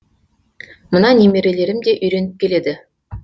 мына немерелерім де үйреніп келеді